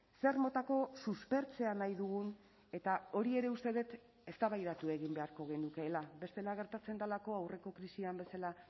zer motako suspertzea nahi dugun eta hori ere uste dut eztabaidatu egin beharko genukeela bestela gertatzen delako aurreko krisian bezala